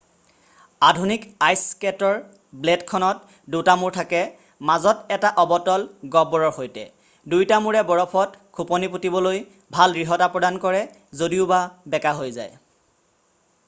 আধুনিক আইছ স্কেটৰ ব্লেডখনত দুটা মূৰ থাকে মাজত এটা অৱতল গহ্বৰৰ সৈতে দুইটা মূৰে বৰফত খোপনি পোটিবলৈ ভাল দৃঢ়তা প্ৰদান কৰে যদিওবা বেকাহৈ যায়